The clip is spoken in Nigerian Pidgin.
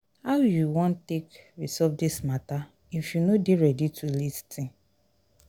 how you wan take resolve dis mata if you no dey ready to lis ten?